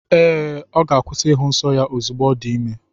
Ee, ọ ga-akwụsị ịhụ nsọ ya ozugbo ọ dị ime.